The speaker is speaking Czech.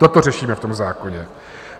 Toto řešíme v tom zákoně.